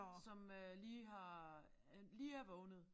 Som øh lige har øh lige er vågnet